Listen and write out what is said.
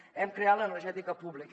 hem creat l’energètica pública